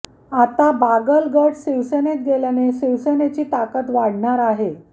आता बागल गट शिवसेनेत गेल्याने शिवसेनेची ताकद वाढणार आहे